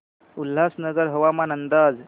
उल्हासनगर हवामान अंदाज